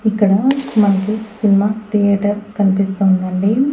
ఇక్కడ మనకి cinema theatre కనిపిస్తోందండి.